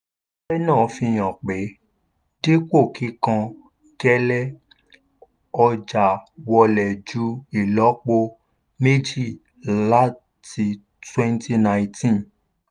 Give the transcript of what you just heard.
iṣẹ́ náà fi hàn pé dípò kíkán gẹ́lé ọjà wọlé ju ìlọ́po méjìláti twenty nineteen.